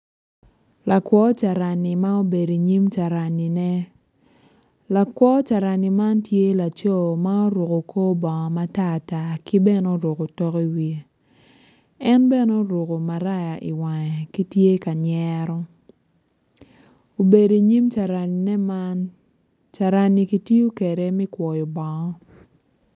Lakwo carani ma obedo i nyim caranine lakwo carani man tye laco ma oruko kor bongo matata dok oruko otok i wiye en bene oruko maraya i wang ka tye ka nyero obedo i nyim caranine man dok ki tiyo kwede me kwoyo bongo.